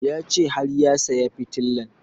Ya ce har ya saya fitilan